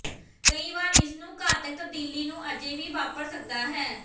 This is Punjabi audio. ਕਈ ਵਾਰ ਇਸ ਨੂੰ ਘਾਤਕ ਤਬਦੀਲੀ ਨੂੰ ਅਜੇ ਵੀ ਵਾਪਰ ਸਕਦਾ ਹੈ